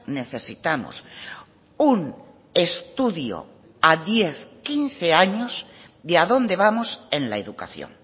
necesitamos un estudio a diez quince años de a dónde vamos en la educación